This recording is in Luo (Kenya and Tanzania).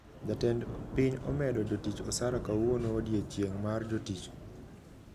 Jatend piny omedo jotich osara kawuono odiochieng` mar jotich